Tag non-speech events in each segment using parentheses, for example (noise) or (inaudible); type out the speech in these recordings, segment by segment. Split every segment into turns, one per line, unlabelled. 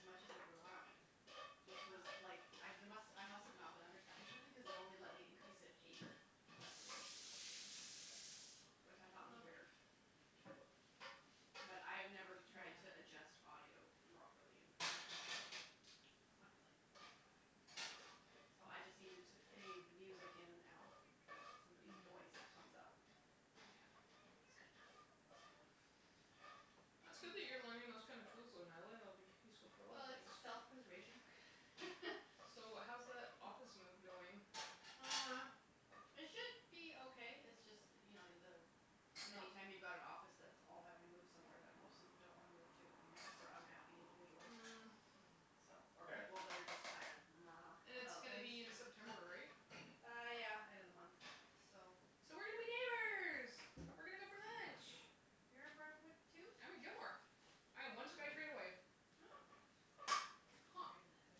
much as it would allow me, which was, like, I d- must, I must have not been understanding something cuz it only let me increase it
Wow.
eight decibels, which I thought was weird.
Well.
(noise)
But I've never tried to adjust audio
Yeah.
(noise)
properly in Premiere, so
It's not really meant for that.
No, so I just needed to fade the music in and out and somebody's
Mm.
voice comes up.
Yeah.
It's good enough, it's good enough.
It's good that you're learning those kind of tools, though, Natalie. It'll be useful for a lot of
Well, it's
things.
self-preservation. (laughs)
So, how's that office move going?
Uh, it should be okay. It's just that you know, the, any
No.
time you've got an office that's all having to move somewhere that most of them don't wanna move to, it makes for unhappy individuals.
Mm
So, or
Fair.
people that are just kind
And
of (noise)
it's
about
gonna
things.
be in September, right?
Uh, yeah, end of the month, so
So we're gonna be neighbors! We're gonna go for lunch.
You're at Brentwood, too?
I'm at Gilmore. I am one SkyTrain away.
Oh. Huh.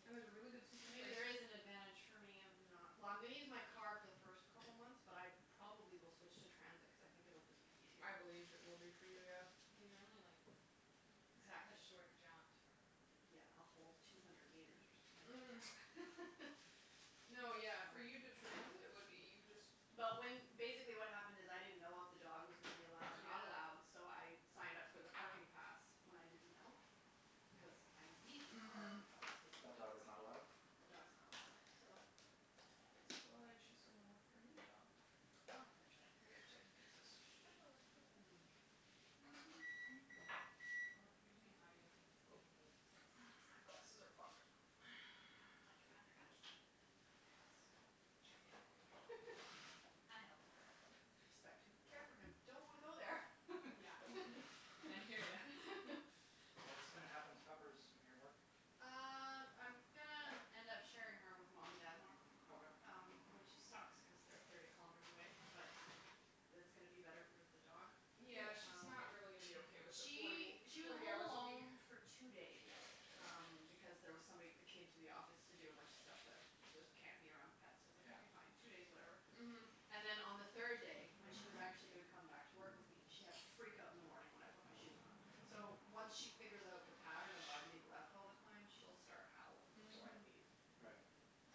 And there's a really good
So
sushi
maybe
place.
there is an advantage for me of not Well, I'm gonna use my car for the first couple months, but I probably will switch to transit cuz I think it'll just be
I
easier.
believe it will be for you, yeah.
Well, you're only, like, a
Exactly.
short jaunt from
Yeah, a whole two hundred meters or something.
Mhm.
(laughs)
No, yeah, for you to transit, what, you just
But when, basically what happened is, I didn't know if the dog was gonna be allowed or not
Yeah.
allowed, so I signed up for the parking pass when I didn't know, cuz I would need the car
Mhm.
if I was taking
But
the dog.
dog is not allowed?
The dog's not allowed, so
That's why she's gonna look for a new job.
Well, eventually.
I gotta check the pizzas. Did you find the lid for that?
(noise)
Well, if you're doing audio things and
Nope.
you need tips,
(noise) My
just
glasses are fogged up. (noise)
I would much rather ask you than my ex.
Yeah.
(laughs)
I help.
Respect him, care for him, don't want to go there.
Yeah. And I hear ya.
(laughs)
(laughs)
What's gonna happen to Puppers when you're at work?
Uh, I'm gonna end up sharing her with mom and dad more.
Okay.
Um, which it sucks cuz they're thirty kilometers away, but that's gonna be better for the dog.
Yeah.
Yeah, she's
Um,
not really gonna be okay with the forty
she,
w-
she was
forty
home
hours a week.
alone for two days um because there was somebody that came to the office to do a bunch of stuff that that can't be around pets, so I was like,
Yeah.
"Okay, fine, two days, whatever."
Mhm.
And then on the third day, when she was actually gonna come back to work with me, she had a freakout in the morning when I put my shoes on. So, once she figures out the pattern of "I'm being left all the time", she'll start howling before I
Mhm.
(noise)
leave.
Right.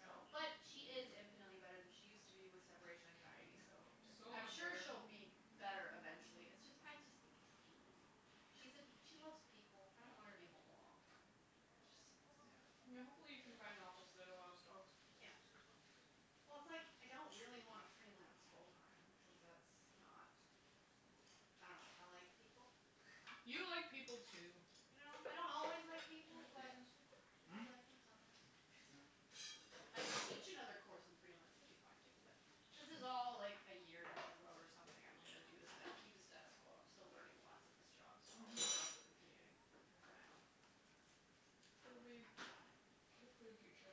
So, but she is infinitely better than she used to be with separation anxiety, so
It's so
I'm
much
sure
better.
she'll be better eventually. It's just, I just think it's mean. She's a, she loves people. I don't want her
Yeah.
to be home alone all the time. That just sucks.
(noise)
Yeah.
Yeah, hopefully you can find an office that allows dogs.
Yeah. Well, it's, like, I don't really wanna freelance full time cuz that's not, I dunno, I like people.
(noise)
(laughs)
You like people, too.
You know? I don't always like
Can you
people,
put these
but
in the sink?
(noise)
I do
Hmm?
like them sometimes.
(noise) Yeah.
But if I could teach another course and freelance, that would be fine, too, but this is all like a year down the road or something I'm gonna do the sta- keep the status quo. I'm still learning lots in this job, so I'll
Mhm.
put up with the commuting for now.
It'll be good for the future.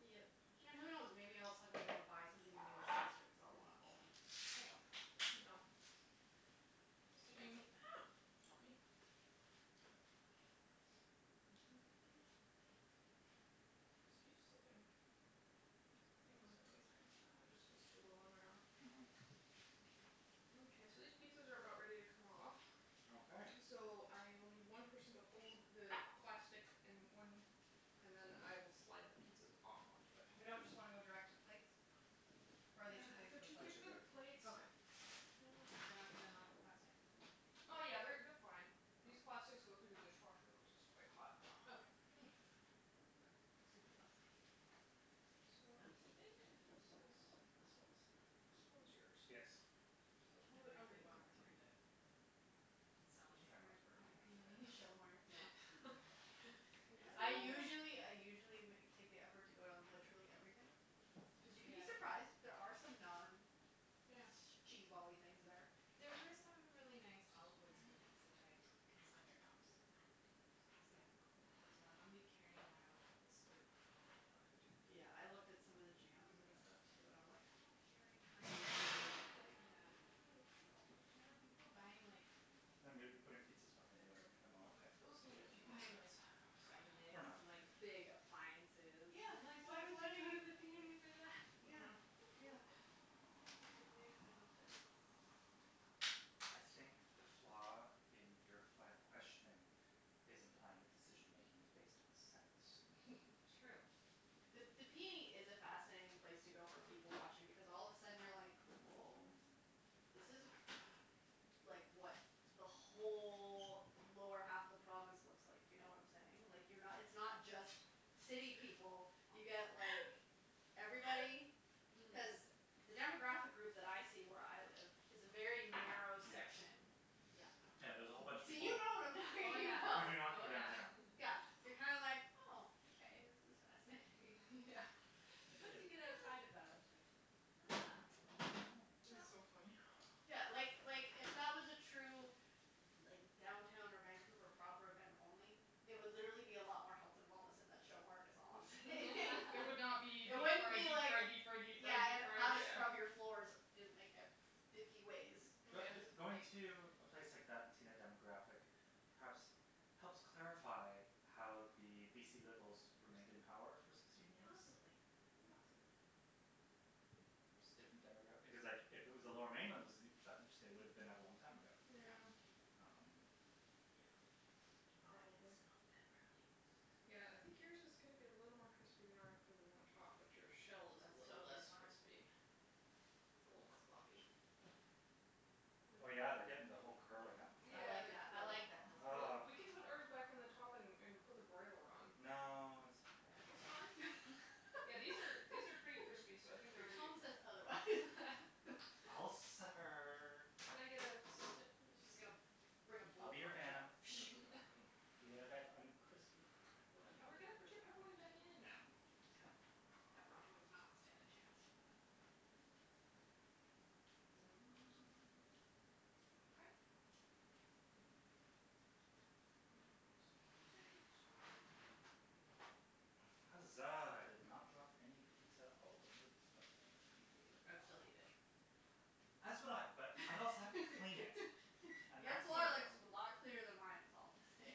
Yep. And who knows? Maybe I'll suddenly wanna buy something in New Westminster because I'll wanna own. I don't know.
(noise) Yep. (noise) This
I don't
thing
know.
(noise) Help me.
(noise)
(noise)
(noise) It just keeps slipping. (noise) Thanks, I think it's high enough now. It just was too low on my arm.
Mhm.
Mkay, so these pizzas are about ready to come off.
Okay.
So I will need one person to hold the plastic and one, and then I will slide the pizzas off onto it.
We don't just wanna go direct to plates? Or are they too big for
They're
the
They're
too big
plates?
too
for the
big.
plates.
Okay.
Oh, crap.
They're not gonna melt the plastic?
Oh, yeah, they're they're fine. These plastics go through the dishwasher which is quite hot. (noise)
Okay. Hm.
Yep.
Super
(noise)
plastic.
So, I think this is, this one's done. This one's yours.
Yes.
So a little
I
bit
briefly
underneath the
walked
rack.
through the
I'm just
selling
trying not
part
to burn my
in the
hand.
p
I
n
know.
(laughs)
e.
Show mart, yeah. (laughs) I
(inaudible)
usually, I usually ma- take the effort to go down to literally everything. Cuz you can be
Yeah.
surprised. There are some
Yeah.
non-cheesebally things there.
There were some really nice olive wood spoons
(inaudible)
which I
I looked at
considered.
those, I looked at those.
I was
Yeah.
like, "Cool, but do I wanna be carrying around a couple of spoons all night while I'm trying to take
Yeah, I looked at
pictures
some of the jams and
(inaudible)
stuff, too, and I'm like, "I don't wanna carry (inaudible) like,
Yeah.
(noise) no."
There were people buying like
I'm gonna be putting pizzas behind
The,
you in a
okay
moment.
Okay, those need a few more
Buying
minutes.
like Vitamix,
Or not.
like big appliances.
Yeah,
Like,
it's
why
like
would
what are
you go to the p n e for that?
you Yeah,
Mm.
Yeah.
yeah. I
It
don't get
makes
it.
no sense.
I think the flaw in your line of questioning is implying the decision-making was based on sense.
True.
The the p n e is a fascinating place to go for people-watching because all of a sudden you're like, woah, this is, like, what the whole lower half of the province looks like, if you know what I'm saying. Like, you're not, it's not just city people. You get like everybody.
Mhm.
Cuz the demographic group that I see where I live is a very narrow
Yes.
section.
Yeah.
Yeah, there's a whole bunch of
So you
people
know what I'm
Oh
talking
who
about.
do
yeah,
not go
oh yeah.
downtown.
Yeah,
(laughs)
you're kind of like, oh, okay, this is fascinating.
(laughs) Yeah.
Yeah. It,
Once you get
it
outside of that, that's like, huh.
Yeah,
Yeah.
That's so
yeah.
funny. (noise)
Yeah, like, like, if that was a true like downtown or Vancouver proper event only, it would literally be a lot more health and wellness in that show mart is all I'm saying. (laughs)
It would not be deep
It wouldn't
fried,
be
deep
like
fried, deep fried, deep
Yeah,
fried, deep
and how
fried,
to
yeah.
scrub your floors in like e- fifty ways.
Mm yeah.
But b- going to a place like that and seeing a demographic perhaps helps clarify how the BC Liberals remained in power for sixteen years.
Possibly, possibly.
Just different demograph- because, like, if it was the Lower Mainland that was judged, they would have been out a long time ago.
Yeah.
Um
Yeah. (noise)
(noise)
Oh, I can smell
Probably.
the pepperoni. (noise)
Yeah, I think yours is gonna be a little more crispy than ours cuz we're on the top, but your shell is
That's
little
totally
less
fine.
crispy. It's a little more floppy.
Oh,
But it
yeah, they're getting the whole curling up thing.
I
Yeah,
like
they're
that, I like
curling.
that, that's
Well,
Ugh
good.
we can put ours back on the top and and put the broiler on.
No, it's
It's fine.
okay.
Yeah, these are, these are pretty crispy, so
(laughs)
I think they're
Your
ready to
tone
come
says
out.
otherwise. (laughs)
I'll suffer.
Can I get a assistant,
She's just
please?
gonna bring a
I'll be your
blowtorch out.
Vanna.
Thank you,
(noise)
darling.
Even if I have uncrispy
That would
pepperoni.
We're
probably
gonna
work
put
really
your
well,
pepperoni back
actually.
in,
No,
calm your
yeah,
tits.
pepperoni would not stand a chance. (noise)
Okay. Mm, excuse my reach.
(noise) Huzzah, I did not drop any pizza all over the oven.
I'd still eat it.
As would I, but I'd also have to clean it
(laughs)
and
Your
that's more
floor
the
looks
problem.
a lot cleaner than mine is all I'm gonna say.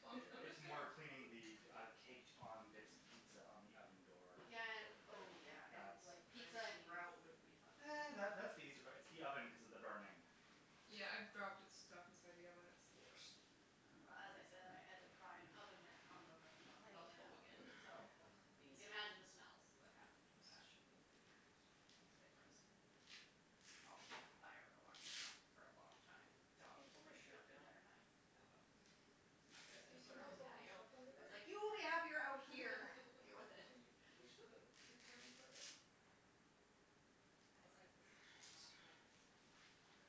Well, I'm j- I'm
It's
just
(laughs)
gonna
more cleaning the, uh, caked on bits of pizza on the oven door
Yeah and,
that would burn.
oh yeah, and,
That's
like, pizza and grout wouldn't be fun
(noise)
either.
That that's the easy part, it's the oven cuz of the burning.
Yeah, I've dropped it stuff inside the oven; it's the worst. (noise)
Well as I said, I had to pry an oven mitt off of a, of
I need
oven
help
element,
again.
so
(noise) Help,
you
please.
can imagine the smells that happened with that.
Let's shove
Yeah, that
it (inaudible)
was a bit gross. Also, the fire alarm went off for a long time and the
Can
dog
you
was
pull my
freaking out
shirt
the
down?
entire time. It was not
Yes,
good. I
do
had
you
to
see
put her
how
on the
it's all bunched
patio.
up under
I was
there?
like, "You will be happier out here." "Deal with it."
Can you push the recording part up?
I
Up.
set
(noise)
the smoke alarm off in my
Thanks. (noise)
place once making pizza.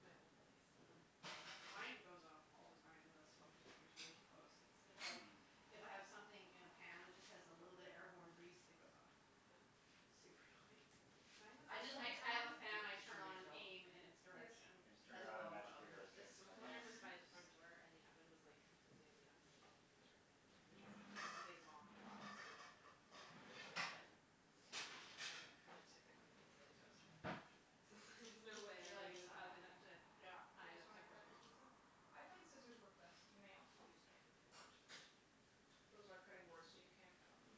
My old place.
Mm. Mine goes off all the time. The smoke detector's way too close. It's, it's like
Mm.
if I have something in a pan that just has a little bit of airborne grease, it goes off.
Oh.
Super annoying.
Mine
I
was,
just
like
I d- I have a
(inaudible)
fan I
Did did you
turn on and
refill?
aim in its
Yes.
direction
I just turned
as
around and
well as the
magically
oven
there
hood.
was
The
drinks in my
smoke
glass.
alarm was by the
(laughs)
front
(inaudible)
door and the oven was, like, completely at the opposite end of my apartment which was, like, just a big long box, basically. But, yeah, I went to cooking pizza in the toaster oven after that cuz it was like, "There's no way
You're
I'm
like
getting
"It's
this
not
oven
happening."
up to
Yeah.
Do you
high
guys
enough
wanna cut up
temperature"
your pizza? I find scissors work best. You may also use knife if you want but those are cutting boards, so you can cut on them.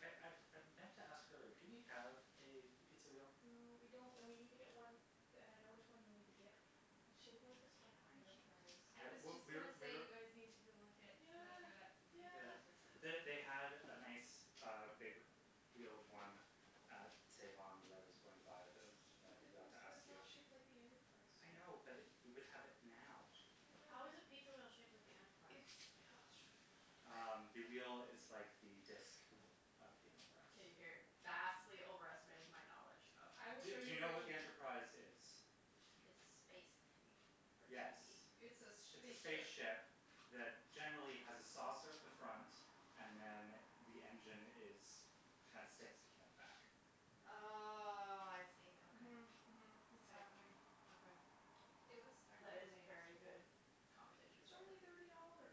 I I I meant to ask earlier, do we have a pizza wheel?
No, we don't, and we need to get one, d- and I know which one you need to get. It's shaped like the Star Trek
I know.
Enterprise.
I
I,
was
we,
just
we're,
gonna say
we're
you guys need to go look at whatever that,
Yeah,
Think
yeah.
Yes.
Geeks or
(noise)
something.
They, they had a nice, uh, big wheeled one at Save On that I was going to buy, but
I feel
then
like
I
it was,
forgot to
but
ask
it's
you.
not shaped like the Enterprise, so
I know, but we would have it now.
I know
How
but
is a pizza wheel shaped like the
It's
Enterprise?
(inaudible)
Um, the wheel is like the disk of the Enterprise.
Okay, you're vastly overestimating my knowledge of
I will
Do
show
do you
you
know what
what
the
you're
Enterprise is?
It's a space thingy for
Yes,
TV.
It's a s- sh-
it's a
spaceship.
spaceship that generally has a saucer at the front and then the engine is, kinda sticks, sticking out the back.
Oh, I see, okay.
Mhm, mhm. It's happening.
Okay.
It was Star
That
Trek
is a
Day
very
yesterday.
good conversation
It's
starter.
only thirty dollars.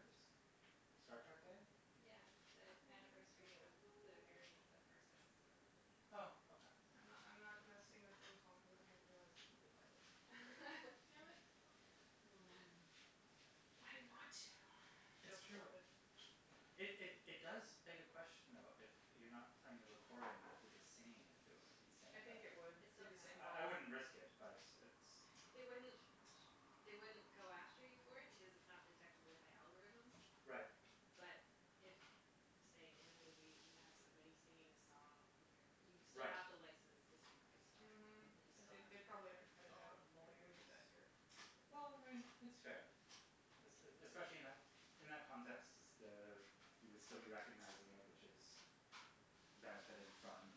Star Trek Day?
Yeah, the anniversary of the airing
(noise)
of the first episode of the original series.
Oh, okay.
I'm not, I'm not gonna sing the theme song cuz then I've realized it probably violates copyright. Damn it.
Yeah.
Mm.
But I want to. (noise)
It's
Joke
true.
thwarted.
It, it, it does beg a question, though, if you're not playing the recording, but if you're just singing it, if it would be the
(noise)
same
I
thing.
think it would
It
be
still
the same
counts.
I, I
problem.
wouldn't risk it, but it's
They wouldn't,
She knows.
they wouldn't go after you for it because it's not detectable by algorithms.
Right.
But if, say, in a movie you have somebody singing a song, like a, you still
Right.
have to license the sync rights for
Mhm,
it. That you still
they,
have
they
put
probably have to
the
cut it
Oh,
out if we
lawyers.
did that here.
Well, I mean, it's fair. Es- e- especially in that, in that context, s- the, you would still be recognizing it, which is benefiting from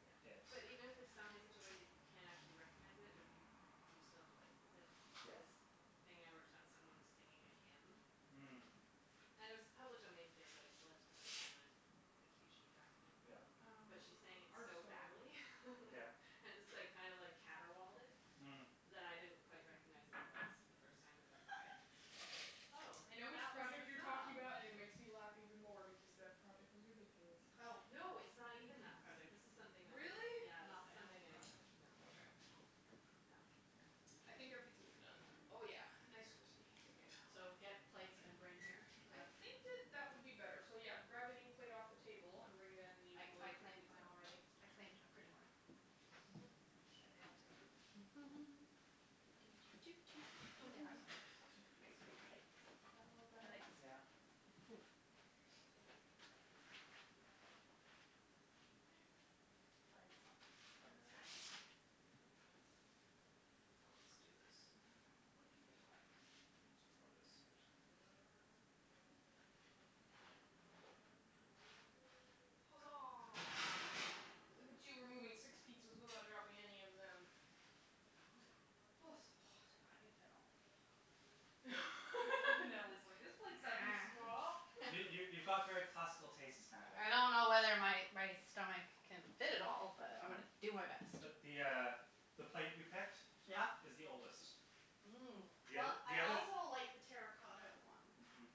Yeah,
it.
but even if it's sung in such a way that you can't actually recognize it but if you, you still have to license it, like
Yeah.
this thing I worked on, someone was singing a hymn.
Mm.
And it was a public domain thing, but I still had to put it on the the cue sheet document.
Yeah.
Um,
But she sang it
ours are
so
still in the oven.
badly.
Yeah.
(laughs) And just, like, kind of like caterwauled it
Mm.
that I didn't quite recognize what it was the first time it went by. I was like, oh,
(laughs) I know which
that was
project you're
the
talking
song.
about and it makes me laugh even more because that project was ridiculous.
Oh.
No, it's not even that project. This is something that was
Really?
Yeah, this
Not
is
the animal
something I,
project?
no
Okay.
No.
Oh. Hm.
I think our pizzas are done. Oh yeah, nice, crispy, bacon
So, get
(inaudible)
plates and bring here, is
I
that?
think
(noise)
that that would be better. So, yeah, grab any plate off the table and bring it in and you
I,
can
I
load up your
claimed mine
pizza.
already. I claimed a pretty one.
Are they all different? Oh, they
So,
are.
this is your
(laughs) (noise) Very pretty
pizza.
plates.
Is that, is that a little
I
better?
like this
Yeah.
one.
There we go. (noise) Okay.
Foots. Foots time.
Ah Let's do this and then we'll let people by.
I need to lower this, actually. (inaudible)
Huzzah. Look at you removing six pizzas without dropping any of them. Oh, it's so hot.
I can fit all my pizza on my plate.
(laughs) Natalie's like, "This plate's not too small." (laughs)
You, you, you've got very
(noise)
classical tastes, Natalie.
I don't know whether my my stomach can fit it all, but I'm
Right.
gonna do my
Yep.
best.
But the uh the plate you picked
Yeah?
is the oldest.
Mmm.
The
Well,
oth- the
I
other
also like the terra cotta one.
Mhm.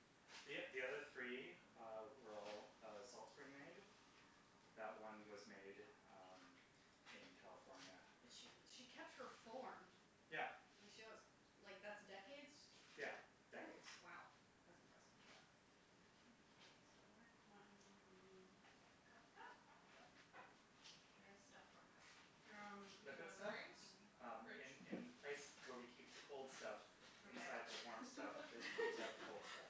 The o- the other three, uh, were all, uh, Salt Spring made. That one was made, um, in California.
But she, she kept her form.
Yeah.
Like she wants, like that's decades?
Yeah, decades.
W- wow, that's impressive.
Yeah.
Okay, so where's my m- cup, cup, cup, cup? Where is stuff for cup?
Um, do you
Liquid
want
stuff?
drinks?
Um,
Fridge.
in, in the place where we keep the cold stuff
(laughs)
Okay.
inside the warm stuff that keeps
(laughs)
out the cold stuff.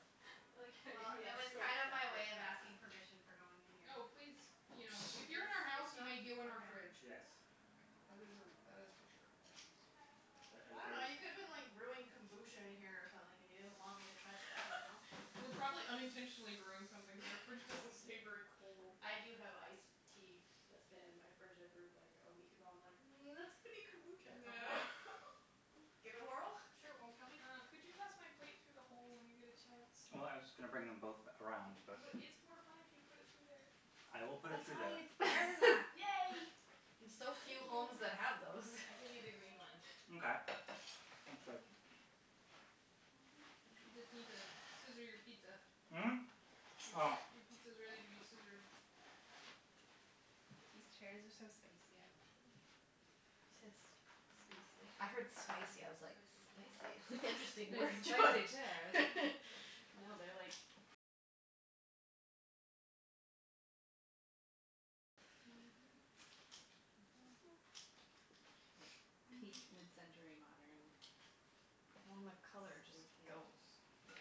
I like how
Well, it was kind of my way of asking
you (inaudible)
permission for going in here.
Oh, please. You know, if
(noise)
you're in our house, you may go in our fridge.
Yes.
That is a, that is for sure.
Yeah. Ah the
I
ah
dunno, you could have
the
been like brewing kombucha in here or something and you didn't want me to touch it, I don't know.
(laughs) We're probably unintentionally brewing something because our fridge doesn't stay very cold.
(laughs) I do have ice tea that's been in my fridge I brewed like a week ago. I'm like, "Mm, that's going to be kombucha at some point."
(laughs)
Give it a whirl, (noise) I'm sure it won't kill me.
Uh, could you pass my plate through the hole when you get a chance?
Well, I was just gonna bring them both around, but
But it's more fun if you put it through there.
I will put it
That's
through
why
there.
it's
(laughs)
there, Matt.
Yay!
There's so
Thank
few homes
you.
that have those.
I give you the green one.
Mkay. (noise) Thanks, babe. (noise)
You just need to scissor your pizza.
Mm? (noise)
Your
Oh.
sci-
(noise)
your pizza is ready to be scissored.
These chairs are so spicy. I love them.
I just work.
I
I
I said
heard
s- spacey.
wasn't sure how many
spicy. I was like,
slices you wanna do.
"Spicy? It's an
Cuts pretty
(laughs)
interesting
Those
word
easily.
spicy chairs.
You
choice."
can
(laughs)
also cut it with the knife
No,
if you
they're, like
want. Mhm.
Like, peak mid-century modern,
Well, and the colour just
space age.
goes.
Yeah.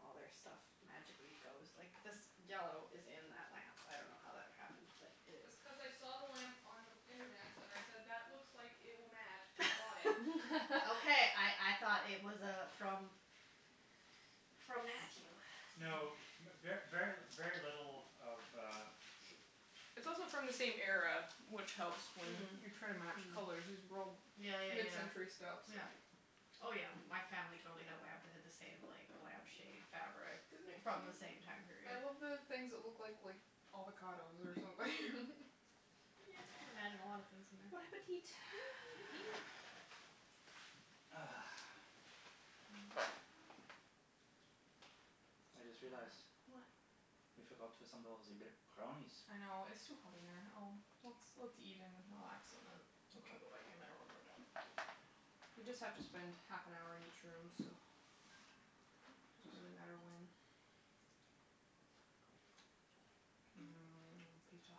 All their stuff magically goes. Like, this yellow is in that lamp. I dunno how that ever happened, but it is.
That's cuz I saw the lamp on internets and I said, "That looks like it will match," and I bought it.
(laughs) Okay, I I thought it was uh from
(laughs)
from Matthew. (noise)
No,
Funny.
mer- ver, very, very little of uh
It's also from the same era, which helps when you're trying to match
Mhm.
colors. These are all
Yeah, yeah, yeah.
mid-century stuff, so
Oh, yeah. My family totally had a lamp that had the same like lamp shade fabric
Isn't it
from the
cute?
same
(noise)
time
I
period.
love the things that look like, like avocados or something. (laughs)
Yeah, I can imagine a lot of things in there.
Bon appetit. (noise)
(noise) Eat.
Ah. I just realized
What?
we forgot to assemble ze b- brownies.
I know. It's too hot in there. I'll Let's, let's eat and relax and then we can
Okay.
go back in there when we're done. We just have to spend half an hour in each room, so, doesn't really matter when. Mmm, pizza.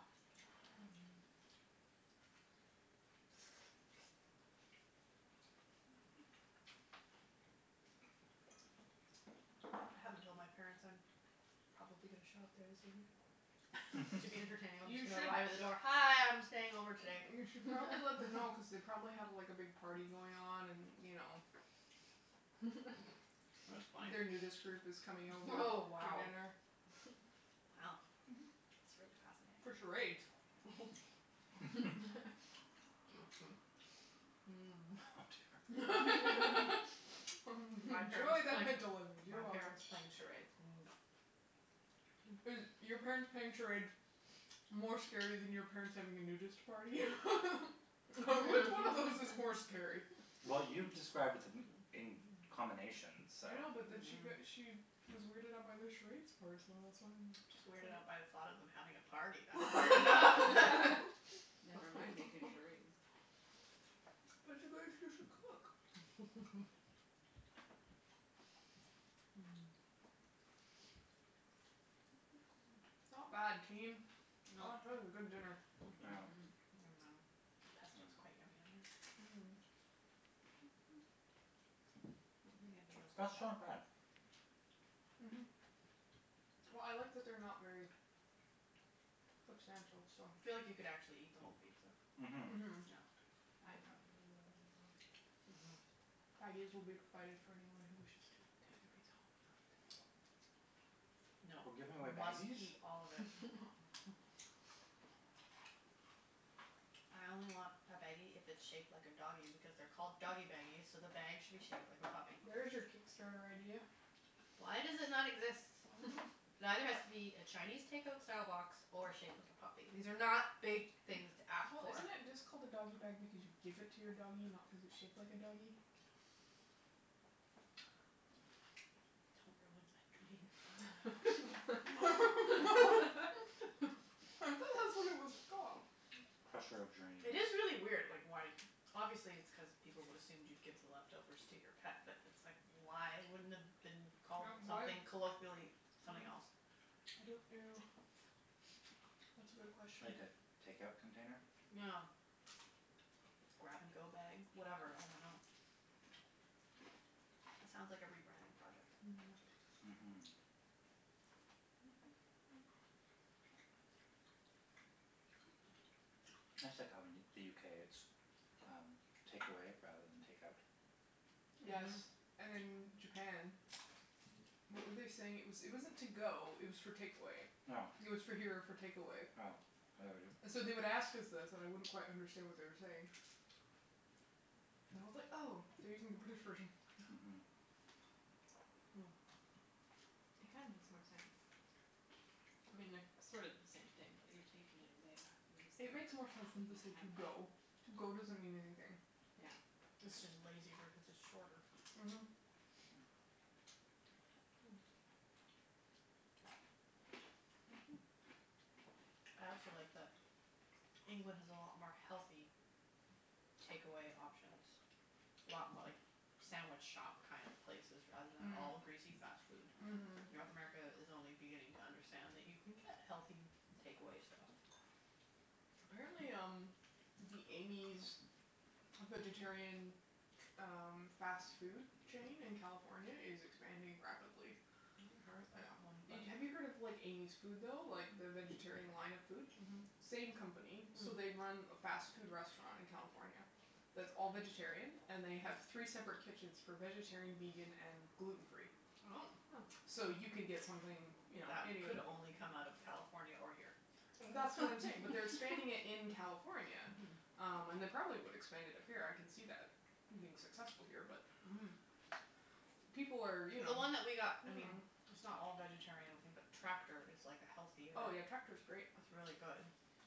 I haven't told my parents I'm probably gonna show up there this evening.
(noise)
But to be
(laughs)
entertaining
(laughs)
I'm
You
just gonna
should
arrive at the door, "Hi, I'm staying over today."
You should probably let them know cuz they probably have, like, a big party going on and, you know
That's funny.
their nudist
(noise)
group is coming over
Oh,
for
wow.
dinner.
Wow, that's really
For
fascinating.
charades.
(noise)
(laughs)
(laughs) (noise)
(laughs)
Oh
(noise) (laughs) Enjoy
dear.
My parents
the
playing,
mental image, you're
my
welcome.
parents playing charades, no.
Is your parents playing charades more scary than your parents having a nudist party? (laughs) (laughs) Which one of those is
(noise)
more scary?
Well, you described b- d- m- in combination, so
I know, but then she got,
Mhm.
she was weirded out by the charades part, so that's why I'm
Just weirded out
(inaudible)
by the thought of them having a party. That's weird enough. (laughs)
Never mind making charades.
(laughs) But it's a (inaudible) cook.
(noise) (laughs) (noise)
(noise)
(noise) Not bad,
Well
team. (noise) That is a good dinner.
Yeah.
Mhm.
(noise) Yum num.
(noise)
Pesto is
(noise)
quite
Mm.
yummy on here. (noise) I
Mmm.
don't think
(noise)
anybody
The
else
(noise)
did
crust's not
that.
bad.
Mhm. Well, I like that they're not very substantial, so
I
(noise)
feel like you could actually eat the whole pizza.
(noise) Mhm.
No.
Mhm.
I probably will eat the whole pizza.
Mhm.
(noise) Baggies will be provided for anyone who wishes to take a pizza home and not eat it all.
(noise)
No,
We're giving away
we must
baggies?
eat all of it.
(laughs)
I only want a baggie if it's shaped like a doggy because they're called doggy baggies, so the bag should be shaped like a puppy.
(noise) There is your Kickstarter idea.
Why does it not exist?
I dunno.
It either has to be
(laughs)
a Chinese takeout style box or shaped like a puppy. These are not big things to ask
Well,
for.
isn't it just called a doggy bag because you give
(noise)
it to your doggy, not cuz it's shaped like a doggy? (noise)
Don't ruin my
(noise)
dream.
(laughs) I thought
(noise)
that's what it was
(laughs)
(laughs)
called.
Crusher of dreams.
It is really weird, like why Obviously it's cuz people would assumed you'd give the leftovers to your pet, but it's like,
(noise)
why wouldn't it have been called
Yeah, why
something
(noise) Mm.
colloquially,
(noise) I
something else?
don't know. (noise) (noise) That's a good
(noise)
question.
Like a takeout container?
(noise) Yeah.
(noise)
(noise) (noise) grab-and-go bag, whatever. I dunno. That sounds like a rebranding project.
Mhm,
(noise)
that's (inaudible)
Mhm. (noise) That's like how in the UK, it's um takeaway rather than takeout.
(noise)
(noise)
Yes.
Mhm.
And in Japan,
(noise)
what were they saying? It was, it wasn't to-go, it was for takeaway.
Yeah.
It
(noise)
was for here or for takeaway.
Yeah, I heard it.
So they would ask us this and I wouldn't quite understand what they were saying. (noise) And I was like, "Oh, they're
(noise)
using the British version."
(noise)
Hmm.
It kinda makes more sense. I mean, they're sort of the same
Mhm.
thing, but you're taking it away rather
(noise)
than just
It
like
makes more sense than
taking
to say
it
"to-go".
out.
(noise)
"to-go" doesn't mean anything.
Yeah.
(noise)
It's just a
(noise)
lazy word cuz it's shorter.
Mhm. (noise) (noise)
I also like that England has a lot more healthy takeaway options. A lot mo- like sandwich shop kind of places rather than all
Mm.
greasy fast
Mm.
food.
(noise)
(noise) Mhm.
North
Mhm.
America
Mhm.
is only beginning to understand that you can get healthy takeaway stuff.
(noise) Apparently, um, the Amy's vegetarian ch- um fast food chain in California is expanding rapidly.
I haven't heard of that one, but
(noise) Have you heard of like Amy's Food, though, like the vegetarian line of food?
Mhm. Mm.
Same company. So, they run a fast food restaurant in California that's all vegetarian. And they have three separate kitchens
(noise)
for vegetarian, vegan and gluten free.
Oh.
(noise) So you can get something, you know
That
any of
could only come out of California or here.
That's what I'm saying, but they're expanding it in California. Um, and they probably would expand it up here. I can see that being successful here, but
Mhm.
people are, you know.
The one that we got, I mean
(noise)
it's not all vegetarian, I don't think, but Tractor is like a healthier
Oh, yeah, Tractor's great.
It's really good,